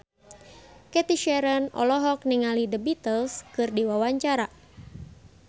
Cathy Sharon olohok ningali The Beatles keur diwawancara